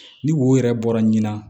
Ni wo yɛrɛ bɔra ɲina